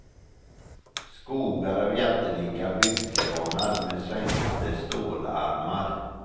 Skogar av jättelika byggkranar med svängande stålarmar.